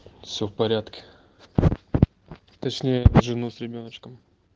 все в порядке точнее жену с ребёночком